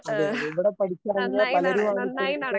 അതെ അതെ ഇവിടെ പഠിച്ചിറങ്ങിയ പലരും അത് അനുസരിച്ചിട്ട്.